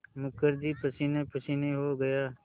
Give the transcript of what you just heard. मुखर्जी पसीनेपसीने हो गया